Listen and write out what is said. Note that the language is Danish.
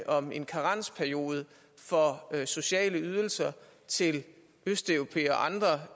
om en karensperiode for sociale ydelser til østeuropæere og andre